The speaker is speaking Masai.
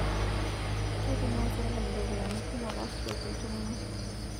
Keitumia sirkali ropiyiani kumok aashukoki ltung'ana